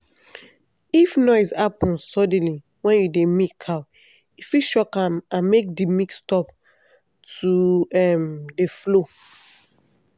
if noise happen suddenly when you dey milk cow e fit shock am make the milk stop to um dey flow.